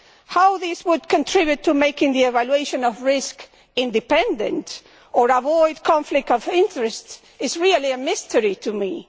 How this would contribute to making the evaluation of risk independent or avoid conflicts of interests, is really a mystery to me.